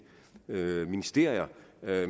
ministerier